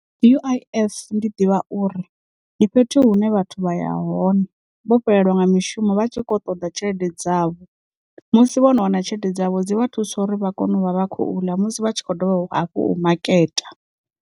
U_I_F ndi ḓivha uri ndi fhethu hune vhathu vha ya hone vho fhelelwa nga mishumo vha tshi kho ṱoḓa tshelede dzavho musi vho no wana tshelede dzavho dzi vha thusa uri vha kone u vha vha khou ḽa musi vha tshi kho dovha hafhu umaketa.